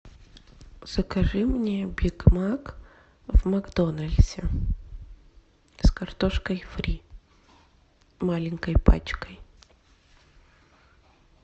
закажи мне бигмак в макдональдсе с картошкой фри маленькой пачкой